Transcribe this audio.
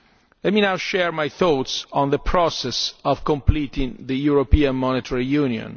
Let me now share my thoughts on the process of completing European Monetary Union.